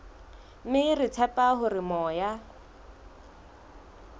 mme re tshepa hore moya